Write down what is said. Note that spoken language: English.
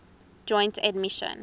joint admission